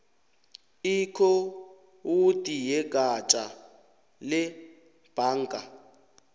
ikhowudi yegatja lebhanga